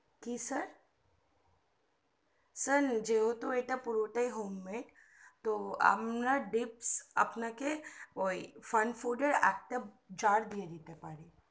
কি sir sir যেহেতু এটা পুরোটাই home made তো আমরা gifs ওই fun food এর আপনাকে একটা জার দিয়ে দিতে পারি